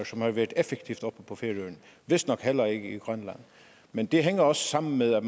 som har været effektivt og vistnok heller ikke i grønland men det hænger også sammen med at